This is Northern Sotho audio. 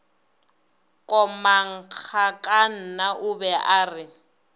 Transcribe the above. komangkanna o be a re